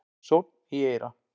Sónn í eyra